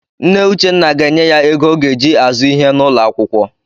Nne Uchenna ga-enye ya ego ọ ga-eji azụ ihe n'ụlọakwụkwọ.